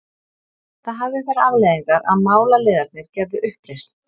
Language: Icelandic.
Það hafði þær afleiðingar að málaliðarnir gerðu uppreisn.